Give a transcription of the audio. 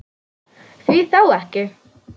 Því þá ekki?